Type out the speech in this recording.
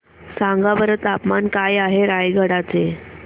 सांगा बरं तापमान काय आहे रायगडा चे